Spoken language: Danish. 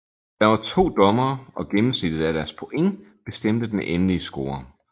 Der var to dommere og gennemsnittet af deres point bestemte den endelige score